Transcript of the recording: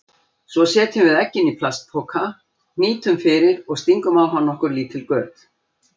Svo setjum við eggin í plastpoka, hnýtum fyrir og stingum á hann nokkur lítil göt.